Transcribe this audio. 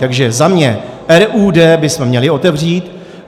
Takže za mě, RUD bychom měli otevřít.